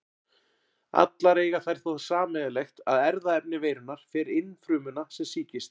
Allar eiga þær þó það sameiginlegt að erfðaefni veirunnar fer inn frumuna sem sýkist.